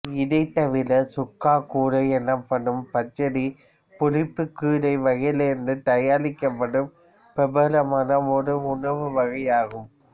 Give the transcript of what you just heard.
இதை தவிற சுக்கா கூரா எனப்படும் பச்சடி புளிப்பு கீரை வகையிலிருந்து தயாரிக்கப்படும் பிரபலமான ஓர் உணவு வகையாகும்